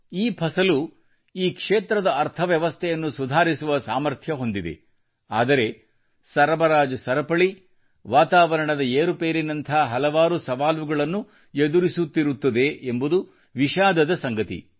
ಈ ಫಸಲು ಈ ಕ್ಷೇತ್ರದ ಅರ್ಥ ವ್ಯವಸ್ಥೆಯನ್ನು ಸುಧಾರಿಸುವ ಸಾಮರ್ಥ್ಯ ಹೊಂದಿದೆ ಆದರೆ ಸರಬರಾಜು ಸರಪಳಿ ವಾತಾವರಣದ ಏರುಪೇರಿನಂಥ ಹಲವಾರು ಸವಾಲುಗಳನ್ನು ಎದುರಿಸುತ್ತಿರುತ್ತದೆ ಎಂಬುದು ವಿಷಾದದ ಸಂಗತಿ